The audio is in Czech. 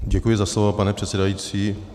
Děkuji za slovo, pane předsedající.